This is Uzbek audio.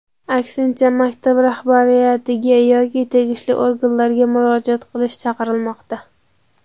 aksincha maktab rahbariyatiga yoki tegishli organlarga murojaat qilishga chaqirmoqda.